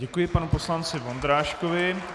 Děkuji panu poslanci Vondráškovi.